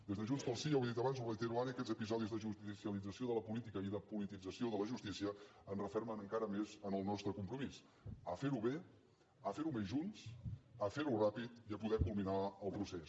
des de junts pel sí ja ho he dit abans ho reitero ara aquests episodis de judicialització de la política i de politització de la justícia ens refermen encara més en el nostre compromís a fer ho bé a fer ho més junts a fer ho ràpid i a poder culminar el procés